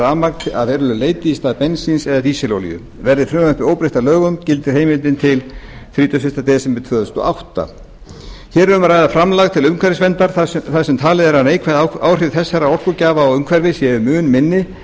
rafmagn að verulegu leyti í stað bensíns eða dísilolíu verði frumvarpið óbreytt að lögum gildir heimildin til þrítugasta og fyrsta desember tvö þúsund og átta hér er um að ræða framlag til umhverfisverndar þar sem talið er að neikvæð áhrif þessara orkugjafa á umhverfið séu mun minni